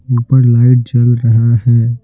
ऊपर लाइट जल रहा है।